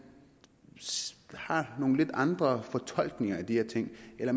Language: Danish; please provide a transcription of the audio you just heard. har nogle lidt andre fortolkninger af de her ting eller